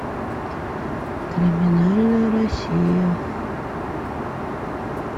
криминальная россия